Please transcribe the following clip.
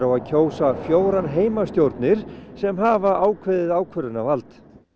að kjósa fjórar heimastjórnir sem hafa ákveðið ákvörðunarvald